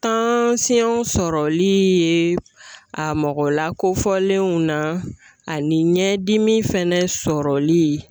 Tansiyɔn sɔrɔli ye a mɔgɔ lakofɔlenw na ani ɲɛdimi fɛnɛ sɔrɔli